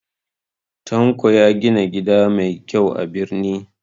Tanko ya gina gida mai kyau a birni